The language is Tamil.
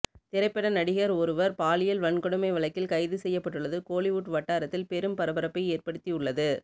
திரைப்பட நடிகர் ஒருவர் பாலியல் வன்கொடுமை வழக்கில் கைது செய்யப்பட்டுள்ளது கோலிவுட் வட்டாரத்தில் பெரும் பரபரப்பை ஏற்படுத்தி உள்ளது